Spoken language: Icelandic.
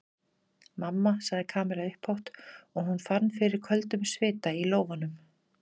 Mamma sagði Kamilla upphátt og hún fann fyrir köldum svita í lófunum.